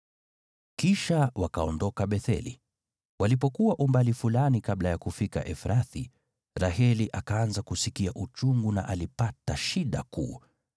Kisha wakaondoka Betheli. Walipokuwa umbali fulani kabla ya kufika Efrathi, Raheli akaanza kusikia uchungu na alipata shida kuu.